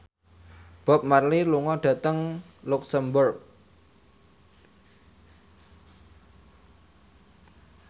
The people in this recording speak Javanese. Bob Marley lunga dhateng luxemburg